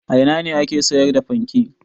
A ina ne ake sayar da fanke?